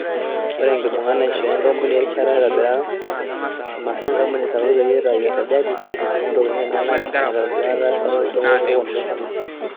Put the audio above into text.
Ore enkibunga neishoo e nkampuni erishata naitobiraa imasaa enkampuni sapuk peyie itayu esajati o ntokitin enyanak naitodolutua erasaroto to sokoni le Kenya.